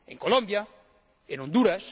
En Colombia, en Honduras...